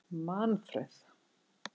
Manfreð